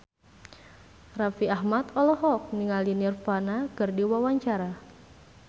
Raffi Ahmad olohok ningali Nirvana keur diwawancara